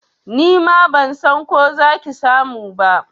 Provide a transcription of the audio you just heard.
Nima ban san ko za ki samu ba.